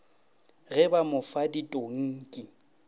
ge ba mo fa ditonki